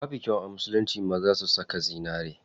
Babu kyau a musulunci maza su saka zinari.